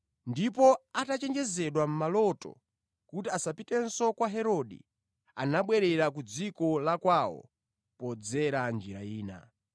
Ndipo atachenjezedwa mʼmaloto kuti asapitenso kwa Herode, anabwerera ku dziko la kwawo podzera njira ina.